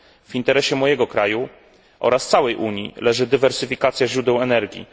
W interesie mojego kraju oraz całej Unii leży dywersyfikacja źródeł energii.